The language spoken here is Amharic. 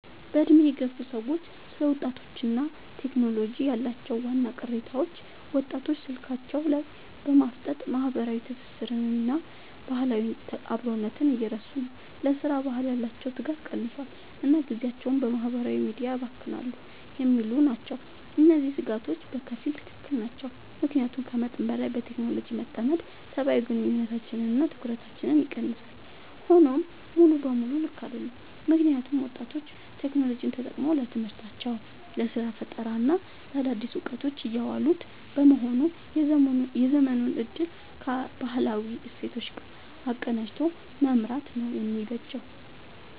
በዕድሜ የገፉ ሰዎች ስለ ወጣቶችና ቴክኖሎጂ ያላቸው ዋና ቅሬታዎች፦ ወጣቶች ስልካቸው ላይ በማፍጠጥ ማህበራዊ ትስስርንና ባህላዊ አብሮነትን እየረሱ ነው: ለሥራ ባህል ያላቸው ትጋት ቀንሷል: እና ጊዜያቸውን በማህበራዊ ሚዲያ ያባክናሉ የሚሉ ናቸው። እነዚህ ስጋቶች በከፊል ትክክል ናቸው። ምክንያቱም ከመጠን በላይ በቴክኖሎጂ መጠመድ ሰብአዊ ግንኙነቶችንና ትኩረትን ይቀንሳል። ሆኖም ሙሉ በሙሉ ልክ አይደሉም: ምክንያቱም ወጣቶች ቴክኖሎጂን ተጠቅመው ለትምህርታቸው: ለስራ ፈጠራና ለአዳዲስ እውቀቶች እያዋሉት በመሆኑ የዘመኑን እድል ከባህላዊ እሴቶች ጋር አቀናጅቶ መምራት ነው የሚበጀው።